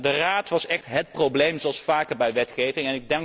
economie. De Raad was echt het probleem zoals vaker